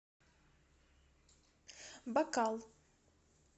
бакал